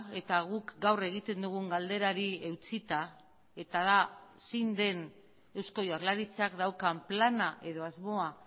eta guk gaur egiten dugun galderari eutsita eta da zein den eusko jaurlaritzak daukan plana edo asmoa